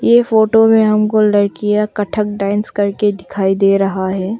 ये फोटो में हमको लड़कियां कत्थक डांस करते दिखाई दे रहा है।